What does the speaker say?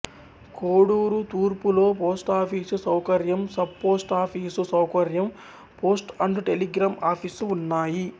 కోడూరు తూర్పులో పోస్టాఫీసు సౌకర్యం sub post office సౌకర్యం పోస్ట్ అండ్ టెలిగ్రాఫ్ ఆఫీసు ఉన్నాయి